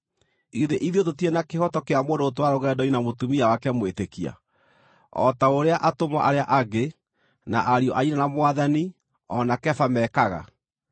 Githĩ ithuĩ tũtirĩ na kĩhooto kĩa mũndũ gũtwarana rũgendo-inĩ na mũtumia wake mwĩtĩkia, o ta ũrĩa atũmwo arĩa angĩ, na ariũ a nyina na Mwathani, o na Kefa mekaga?